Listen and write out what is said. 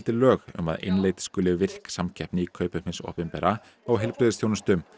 lög um að innleidd skuli virk samkeppni í kaupum hins opinbera á heilbrigðisþjónustu